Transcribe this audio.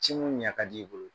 ɲan ka d'i bolo